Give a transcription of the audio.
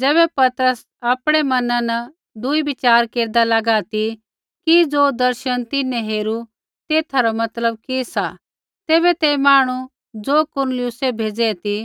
ज़ैबै पतरस आपणै मैना न दूई विचार केरदा लागा ती कि ज़ो दर्शन तिन्हैं हेरू तेथा रा मतलब कि सा तैबै तै मांहणु ज़ो कुरनेलियुसै भेज़ै ती